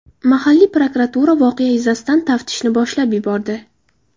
Mahalliy prokuratura voqea yuzasidan taftishni boshlab yubordi.